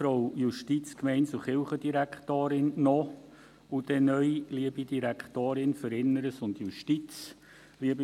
Für die SP-JUSO-PSA-Fraktion: Peter Siegenthaler.